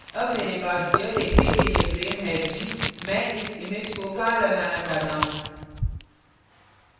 अब मेरे पास यह देखने के लिए frame है कि मैं इस image को कहाँ लगाना चाहता हूँ